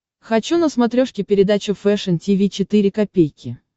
хочу на смотрешке передачу фэшн ти ви четыре ка